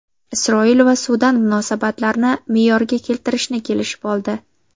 Isroil va Sudan munosabatlarni me’yorga keltirishni kelishib oldi.